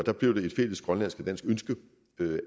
der blev det et fælles grønlandsk og dansk ønske